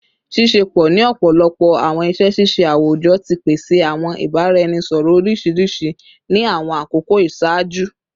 Ṣiṣepọ ni ọpọlọpọ awọn iṣẹ ṣiṣe awujọ ti pese awọn ibaraẹnisọrọ oriṣiriṣi ni awọn akoko iṣaaju